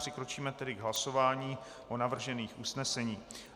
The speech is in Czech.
Přikročíme tedy k hlasování o navržených usneseních.